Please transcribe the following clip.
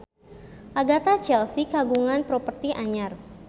Agatha Chelsea kagungan properti anyar